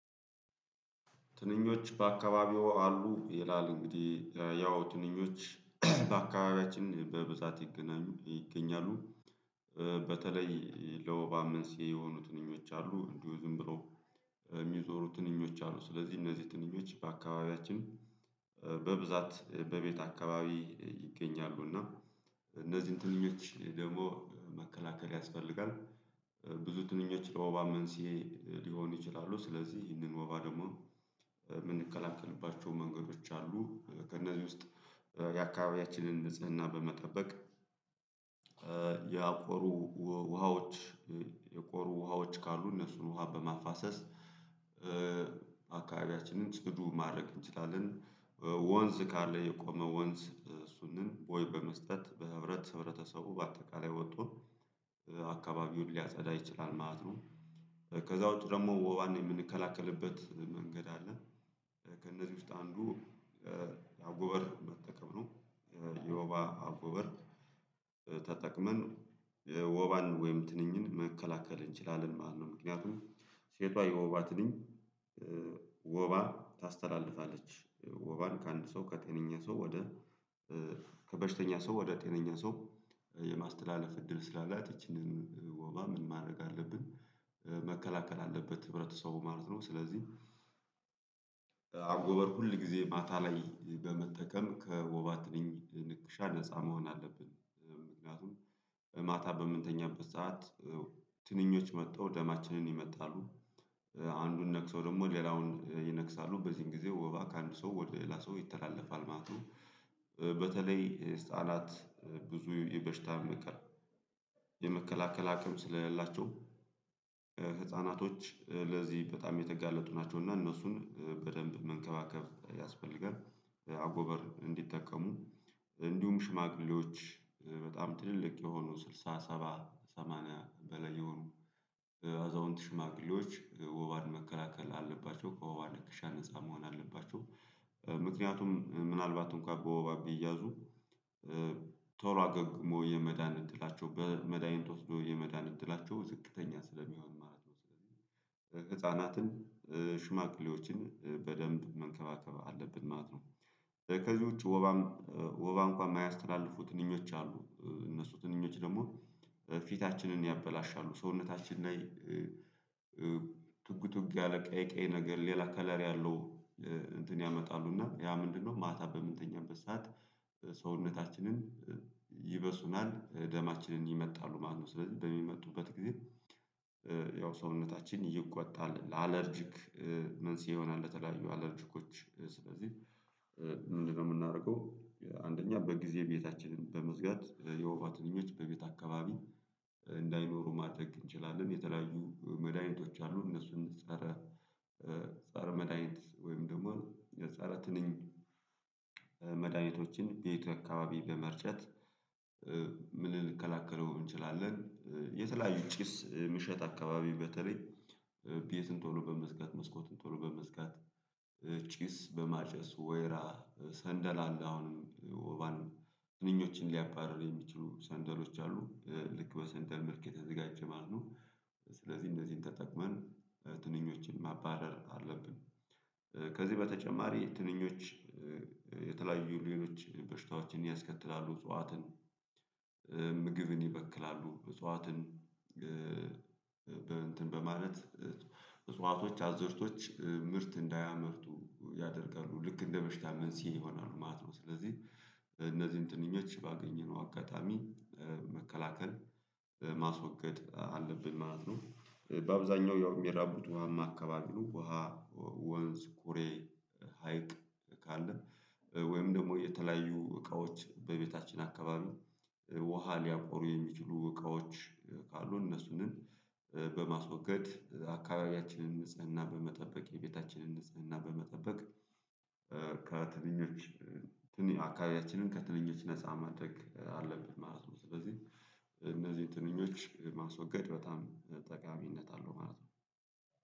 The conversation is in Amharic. ትንኞች በአካባቢዎ አሉ ይላል? እንግዲህ ያው ትንኞች በአካባቢያችን በብዛት ይገናኙ ይገኛሉ። በተለይ ለወባ መንስኤ የሆኑ ትንኞች አሉ እንዲሁ ዝም ብለው የሚዞሩ ትንኞች አሉ። ስለዚህ እነዚህ ትንኞች በአካባቢያችን በብዛት በቤት አካባቢ ይገኛሉ። እና እነዚህ እንትን ደግሞ መከላከል ያስፈልጋል። ብዙ ትንኞች ለወባ መንስኤ ሊሆን ይችላሉ ስለዚህ ይህንን ወባ ደግሞ የምንከላከልባቸው መንገዶች አሉ። ከእነዚህ ውስጥ የአካባቢያችንን ንጽህና በመጠበቅ ያቆሩ ውሃዎች የቆሩ ውሃዎች ካሉ እነሱን ውሃ በማፋሰስ አካባቢያችንን ጽዱ ማድረግ እንችላለን። ወንዝ ካለ የቆመ ወንዝ ሱንን ቦይ በመስጠት በህብረት ህብረተሰቡ በአጠቃላይ ወጦ አካናቢውን ሊያጸዳ ይችላል ማለት ነው። ከዛ ውጪ ደግሞ ወባን የምንከላከልበት መንገድ አለ። ከእነዚህ ውስጥ አንዱ የአጎበር መጠቀም ነው። የወባ አጎበር ተጠቅመን ወባን ወይም ትንኝን መከላከል እንችላለን ማለት ነው። ምክንያቱም ሴቷ የወባ ትንኝ ወባ ታስተላልፋለች። ወባን ከአንድ ሰው ከጤነኛ ሰው ወደ ከበሽተኛ ሰው ወደ ጤነኛ ሰው የማስተላለፍ እድል ስላላት ይቺንን ወባ ምን ማድረግ አለብን? መከላከል አለበት ህብረተሰቡ ማለት ነው። ስለዚህ አጎበር ሁል ጊዜ ማታ ላይ በመጠቀም ከወባት ትንኝ ንክሻ ነፃ መሆን አለብን። ምክንያቱም ማታ በምንተኛበት ሰዓት ትንኞች መጥተው ደማችንን ይመጣሉ። አንዱን ነክሰው ደግሞ ሌላውን ይነክሳሉ በዚህን ጊዜ ወባ ከአንድ ሰው ወደ ላሰው ይተላለፋል ማለት ነው። በተለይ ህፃናት ብዙ የበሽታ መከ የመከላከል አቅም ስለሌላቸው ህፃናቶች ለዚህ በጣም የተጋለጡ ናቸው። እና እነሱን በደንብ መንከባከብ ያስፈልጋል። አጎበር እንዲጠቀሙ እንዲሁም ሽማግሌዎች በጣም ትልልቅ የሆኑ ስልሳ ሰባ ሰማንያ በላይ የሆኑ አዛውንት ሽማግሌዎች ወባን መከላከል አለባቸው ከወባ ንክሻ ነፃ መሆን አለባቸው። ምክንያቱም ምናልባት እንኳን በወባ ቢያዙ ቶሎ አገግሞ የመዳን እድላቸው በመድሃኒት ወስዶ የመዳን እድላቸው ዝቅተኛ ስለሚሆን ማለት ነው። ህፃናትን ሽማቅሌዎችን በደንብ መንከባከብ አለብን ማለት ነው። ከዚህ ውጪ ወባም ወባ እንኳን የማያስተላልፉት እንኝዎች አሉ እነሱ ትንኞች ደግሞ ፊታችንን ያበላሻሉ። ሰውነታችን ላይ ትጉትጉ ያለ ቀይ ቀይ ነገር ሌላ ከለሪ ያለው እንትን ያመጣሉ። እና ያ ምንድነው? ማታ በምንተኛ ሰዓት ሰውነታችንን ይበሱናል ደማችንን ይመጣሉ። ማነው? ስለዚህ በሚመጡበት ጊዜ ያው ሰውነታችን ይቆጣል ለአለርጂክ መንስኤ ይሆናል። እንደተለያዩ አለልችኮች ስለዚህ ምንድነው የምናደርገው? አንደኛ በጊዜ ቤታችንን በመዝጋት የውባ ትንኞች በቤት አካባቢ እንዳይኖሩ ማድረግ እንችላለን። የተለያዩ መድኃኒቶች አሉ። እነሱን ፀረ ፀረ መድሃኒት ወይም ደግሞ ፀረ ትንኝ። መድሃኒቶችን ቤቱ አካባቢ በመርጨት ምን ልንከላከለው እንችላለን? የተለያዩ ጭስ ምሸት አካባቢ በተለይ ቤትን ቶሎ በመዝጋት መስኮትን ቶሎ በመዝጋት። ጭስ በማጨስ ወይራ ሰንደል አለ አሁንም ወባንም ትንኞችን ሊያባርር የሚችሉ ሰንደሎች አሉ ልክ በሰንደል ምልክት የተዘጋጀ ማለት ነው። ስለዚህ እነዚህን ተጠቅመን ትንኞችን ማባረር አለብን። ከዚህ በተጨማሪ ትንኞች የተለያዩ ሌሎች በሽታዎችን ያስከትላሉ። እጽዋትን ምግብን ይበክላሉ እጽዋትን በማለት እጽዋቶች አዝርቶች ምርት እንዳያመርቱ ያደርቃሉ ልክ እንደበሽታ መንስኤ ይሆናሉ ማለት ነው። ስለዚህ እነዚህን ጥንኞች ባገኘነው አጋጣሚ መከላከል ማስወገድ አለብን ማለት ነው። በአብዛኛው ያው የሚራቡት ውሃማ አካባቢ ነው። ውሃ ወንዝ ኩሬ ሀይቅ ካለ ወይም ደግሞ የተለያዩ እቃዎች በቤታችን አካባቢ ውሃ ሊያቆሩ የሚችሉ እቃዎች ካሉ እነሱንም በማስወገድ አካባቢያችንን ንጽህና በመጠበቅ የቤታችንን ንጽህና በመጠበቅ። ከትንኞች አካባቢያችንን ከትንኞች ነፃ ማድረግ አለበት ማለት ነው። ስለዚህ እነዚህን ትንኞች ማስወገድ በጣም ጠቃሚነት አለው ማለት ነው።